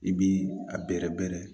I bi a bɛrɛ bɛɛrɛ